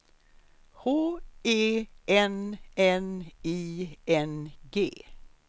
H E N N I N G